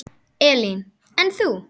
Elín: En þú?